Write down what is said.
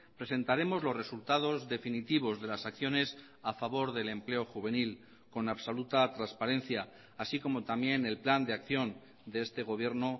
presentaremos los resultados definitivos de las acciones a favor del empleo juvenil con absoluta transparencia así como también el plan de acción de este gobierno